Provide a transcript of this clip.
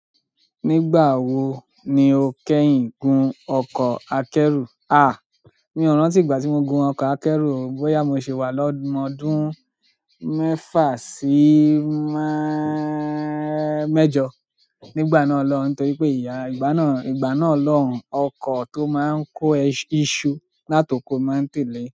Nígbà wo ni o kẹ́yìn gun ọkọ̀ akẹ́rù? À, mi ò rántí ìgbà tí mo gun ọkọ̀ akẹ́rù, bóyá mo ṣì wà lọ́mọ ọdún mẹ́fà sí mẹ́ẹ́--mẹ́jọ. Nígbà náà lọ́hun, torí pé ìyá, ìgbà náà, ìgbà náà lọ́hun ọkọ̀ tó máa ń kó iṣu látoko ni mo máa ń tẹ̀lé.